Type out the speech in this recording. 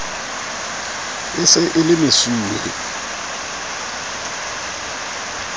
e se e le mesuwe